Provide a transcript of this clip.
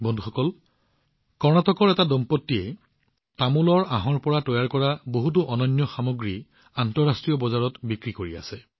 বন্ধুসকল কৰ্ণাটকৰ এহাল দম্পতীয়ে বেটেলনাট ফাইবাৰৰ পৰা তৈয়াৰ কৰা বিভিন্ন সামগ্ৰী আন্তৰ্জাতিক বজাৰলৈ প্ৰেৰণ কৰিছে